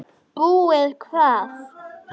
Búið hvað!